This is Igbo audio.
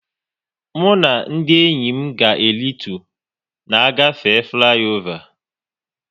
Mụ na ndị enyi m ga e ritu na-agafe fliova